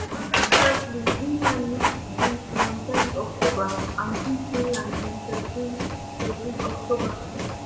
under carsley england lose to greece on ten october and beat finland on thirteen thirteen october